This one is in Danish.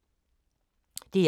DR1